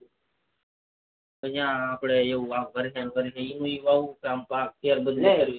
પછી આમ આપડે ફરી ફરી ને એજ વવાયું કે આમ પાક ફેર બદલવી કરવી નહી